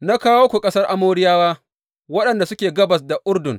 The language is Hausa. Na kawo ku ƙasar Amoriyawa waɗanda suke gabas da Urdun.